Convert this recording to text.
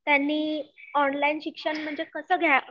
मग त्यांनी ऑनलाइन शिक्षण म्हणजे कसं घ्यावं?